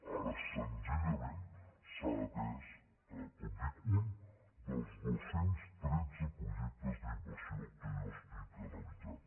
ara senzillament s’ha atès com dic un dels dos cents i tretze projectes d’inversió que jo analitzo